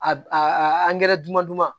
A b a dumandu ma